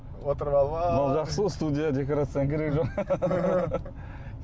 отырып алып жақсы ғой студия декорацияның керегі жоқ